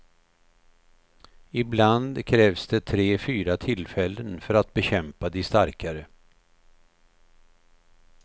Ibland krävs det tre fyra tillfällen för att bekämpa de starkare.